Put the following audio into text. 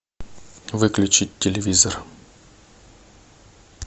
выключить телевизор